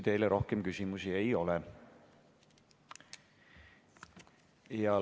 Teile rohkem küsimusi ei ole.